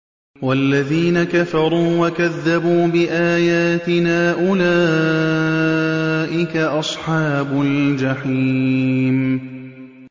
وَالَّذِينَ كَفَرُوا وَكَذَّبُوا بِآيَاتِنَا أُولَٰئِكَ أَصْحَابُ الْجَحِيمِ